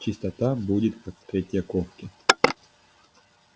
чистота будет как в третьяковке